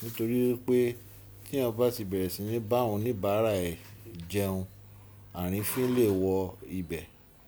Nítorí wipé, te yan bá ti bẹ̀rẹ̀ sí ní bá awon oníbàárà e jẹun, àrífín lè wọ ibẹ̀.